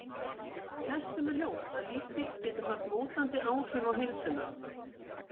Flestum er ljóst að lífsstíll getur haft mótandi áhrif á heilsuna.